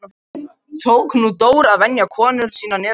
Tók nú Dór að venja komur sínar niður á bryggju.